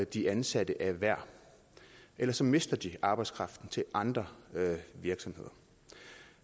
de ansatte er værd ellers mister de arbejdskraften til andre virksomheder